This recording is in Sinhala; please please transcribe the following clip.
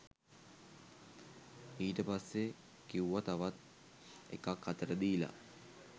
ඊට පස්සෙ කිවුව තවත් එකක් අතට දීල